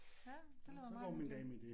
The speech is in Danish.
Ja det lyder meget hyggeligt